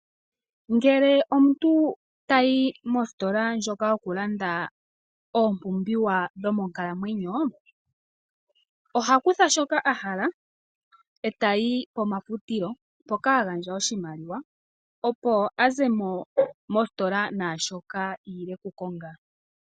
Ngele omuntu tayi mositola ndjoka yokulanda oompumbwe dhomonkalamwenyo, oha kutha shoka ahala ,etayi komafutilo hoka hagandja oshimaliwa opo azemo naashoka iile okukonga.